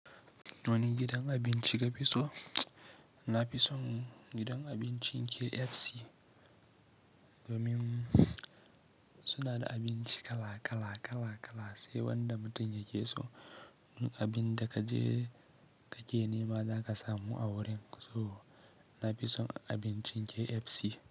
Wani gidan abinci ka fi so? Na fi son gidan abincin KFC, domin suna da abinci kala kala kala kala, sai wanda mutum ya ke so. Abin da kaje kake nema za ka samu a wurin, so na fi son abincin KFC.